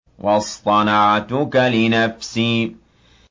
وَاصْطَنَعْتُكَ لِنَفْسِي